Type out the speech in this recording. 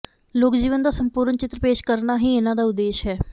ਲੋਕਜੀਵਨ ਦਾ ਸੰਪੂਰਨ ਚਿਤਰ ਪੇਸ਼ ਕਰਨਾ ਹੀ ਇਨ੍ਹਾਂ ਦਾ ਉਦੇਸ਼ ਹੈ